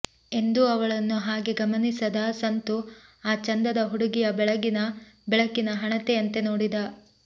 ಎಂದೂ ಅವಳನ್ನು ಹಾಗೆ ಗಮನಿಸದ ಸಂತು ಆ ಚಂದದ ಹುಡುಗಿಯ ಬೆಳಗಿನ ಬೆಳಕಿನ ಹಣತೆಯಂತೆ ನೋಡಿದ